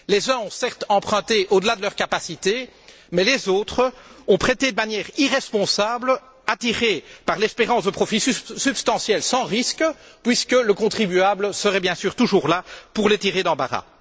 Les uns ont, certes, emprunté au delà de leurs capacités, mais les autres ont prêté de manière irresponsable, attirés par l'espérance de profits substantiels sans risque, puisque le contribuable serait bien sûr toujours là pour les tirer d'embarras.